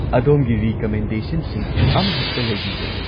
ꯑꯗꯣꯝꯒꯤ ꯔꯤꯀꯃꯦꯟꯗꯦꯁꯟꯁꯤꯡ ꯑꯃꯍꯦꯛꯇ ꯂꯩꯕꯤꯕ꯭ꯔꯥ?